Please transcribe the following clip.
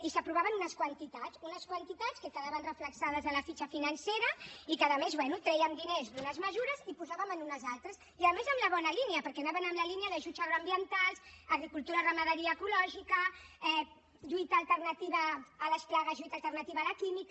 i s’aprovaven unes quantitats unes quantitats que quedaven reflectides a la fitxa financera i que a més bé trèiem diners d’unes mesures i en posàvem en unes altres i a més en la bona línia perquè anaven en la línia d’ajuts agroambientals agricultura i ramaderia ecològica lluita alternativa a les plagues lluita alternativa a la química